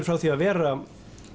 frá því að vera